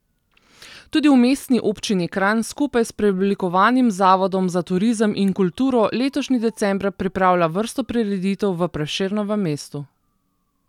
Tudi v mestni občini Kranj skupaj s preoblikovanim zavodom za turizem in kulturo letošnji december pripravlja vrsto prireditev v Prešernovem mestu.